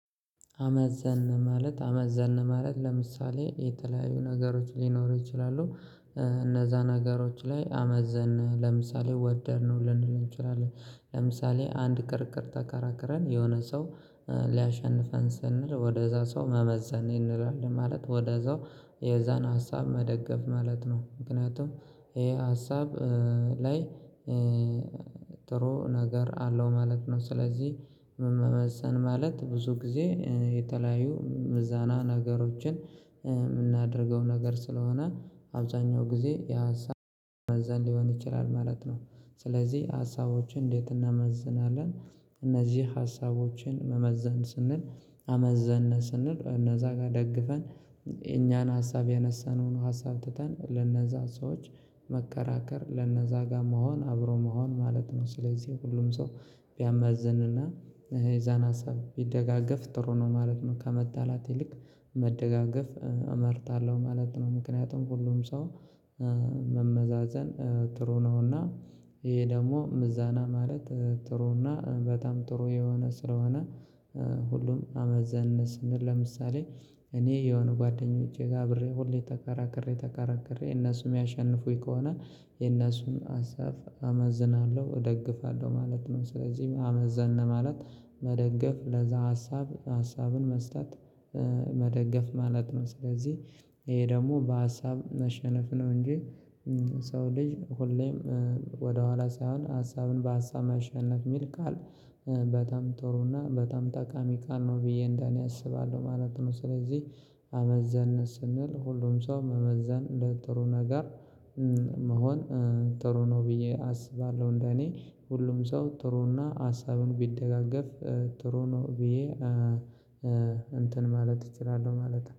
አመዘንን ማለት አመዘንን ማለት ለምሳሌ የተለያዩ ነገሮች ሊኖሩ ይችላሉ። እነዛ ነገሮች ላይ አመዘንን ለምሳሌ ወደድነው ልንል እንችላለን ለምሳሌ አንድ ክርክር ተከራክረን የሆነ ሰው ሊያሸንፈን ስንል ወደዛ ሰው መመዘን እንላለን ማለት ወደዛው የዛን ሀሳብ መደገፍ ማለት ነው። ምክንያቱም ይሄ ሀሳብ ላይ ጥሩ ነገር አለው ማለት ነው። ስለዚህ መመዘን ማለት ብዙ ጊዜ የተለያዩ ምዘና ነገሮችን የምናደርገው ነገር ስለሆነ አብዛኛው ጊዜ የሀሳብ መመዘን ሊሆን ይችላል ማለት ነው። ስለዚህ ሀሳቦችን እንዴት እንመዝናለን? እነዚህ ሀሳቦችን መመዘን ስንል አመዘንን ስንል እነዛ ጋር ደግፈን የኛን ሀሳብ ያነሰነውን ሀሳብ ትተን ለነዛ ሰዎች መከራከር ለነዛ ጋር መሆን አብሮ መሆን ማለት ነው። ስለዚህ ሁሉም ሰው ቢያመዝንና የዛን ሀሳብ ቢደጋገፍ ጥሩ ነው ማለት ነው። ከመጣላት ይልቅ መደጋገፍ እመርጣለሁ ማለት ነው። ምክንያቱም ሁሉም ሰው መመዛዘን ጥሩ ነውና። ይሄ ደግሞ ምዘና ማለት ጥሩና በጣም ጥሩ የሆነ ስለሆነ ሁሉም አመዘንን ስንል ለምሳሌ እኔ የሆኑ ጓደኞቼ ጋር አብሬ ሁሌ ተከራክሬ ተከራክሬ እነሱም ሚያሸንፉኝ ከሆነ የእነሱን ሀሳብ አመዝናለሁ እደግፋለሁ ማለት ነው። ስለዚህ አመዘንን ማለት መደገፍ ለዛ ሀሳብ ሀሳብን መስጠት መደገፍ ማለት ነው። ስለዚህ ይሄ ደግሞ በሀሳብ መሸነፍ ነው እንጂ ሰው ልጅ ሁሌም ወደኋላ ሳይሆን ሀሳብን በሀሳብ ማሸነፍ የሚል ቃል በጣም ጥሩና በጣም ጠቃሚ ቃል ነው ብዬ እንደኔ አስባለሁ ማለት ነው። ስለዚህ አመዘንን ስንል ሁሉም ሰው መመዘን ለጥሩ ነገር መሆን ጥሩ ነው ብዬ አስባለሁ። እንደኔ ሁሉም ሰው ጥሩና ሀሳቡን ቢደጋገፍ ጥሩ ነው ብዬ እንትን ማለት እችላለሁ ማለት ነው